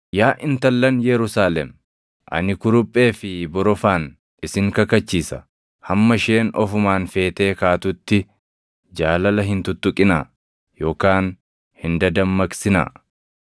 Yaa intallan Yerusaalem, ani kuruphee fi borofaan isin kakachiisa; hamma isheen ofumaan feetee kaatutti jaalala hin tuttuqinaa yookaan hin dadammaqsinaa.